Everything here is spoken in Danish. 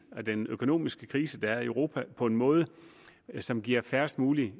den økonomiske krise der er i europa på en måde som giver færrest mulige